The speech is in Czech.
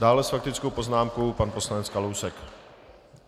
Dále s faktickou poznámkou pan poslanec Kalousek.